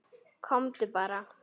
Komdu bara.